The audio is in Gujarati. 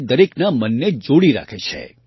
જે દરેકના મનને જોડીને રાખે છે